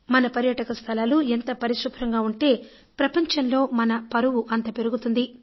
మన పర్యాటక స్థలాలు ఎంత పరిశుభ్రంగా ఉంటే ప్రపంచంలో మన పరువు అంత పెరుగుతుంది